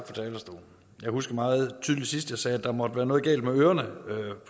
talerstolen jeg husker meget tydeligt sidst sagde at der måtte være noget galt med ørerne